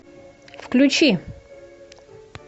включи